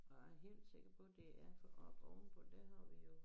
Og jeg er helt sikker på det er for oppe oven på der har vi jo